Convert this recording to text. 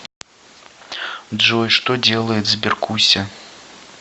джой что делает сберкуся